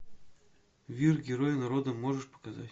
вир герой народа можешь показать